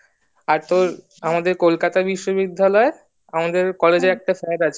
আর তোর আমাদের কলকাতা বিশ্ববিদ্যালয় আমাদের যে একটা স্যার আছে